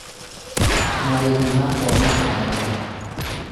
marĩhi ma kwamũkĩra ageni